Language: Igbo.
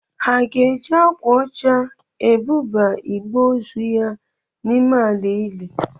Ha ga-eji akwa ọcha ebuba igbe ozu ya n'ime ala ili?